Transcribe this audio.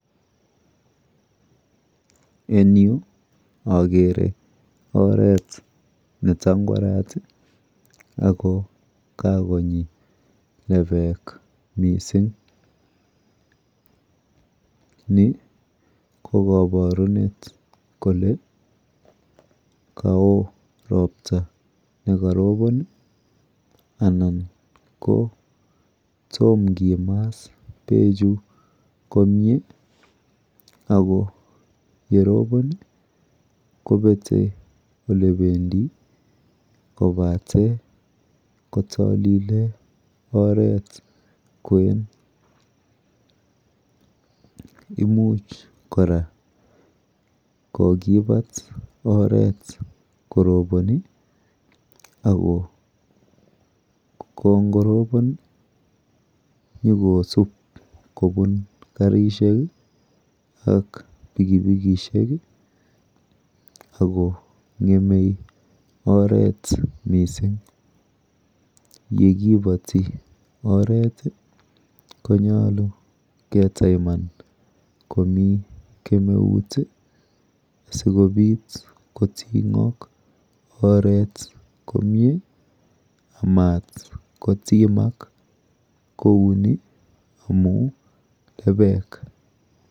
En yu akere oret netangwarat ako kakonyi lepek miising. Ni ko kabarunet kole kaoo ropta nekarobon anan kotom kimas beechu komie ako yekarobon kopete olependi kopate kotolile oret kwen. Imuch kora kokipat oret koroboni ak kongoropon nyokosup kobun karishek ak pikipikishek ako ng'eme oret mising. Yekipoti oret konyolu ketaiman komi kemeut asikobit koting'ok oret komie amat kotimak kouni amu lepek.